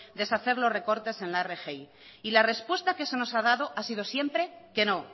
deshacer los recortes en la rgi y la respuesta que se nos ha dado ha sido siempre que no